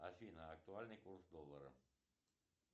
афина актуальный курс доллара